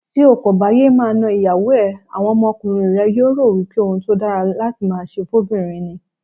Tí o kòbà yéé máa na ìyàwó ẹ, àwọn ọmọkùnrin rẹ yóò rò wípé ohun tódára láti máaṣe fó'bìnrin ni.